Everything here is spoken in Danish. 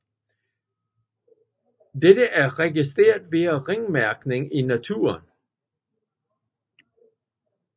Dette er registreret via ringmærkning i naturen